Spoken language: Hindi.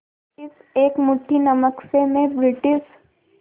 इस एक मुट्ठी नमक से मैं ब्रिटिश